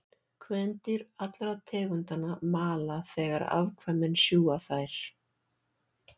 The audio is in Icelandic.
Kvendýr allra tegundanna mala þegar afkvæmin sjúga þær.